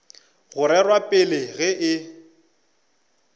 go rerwa pele ge e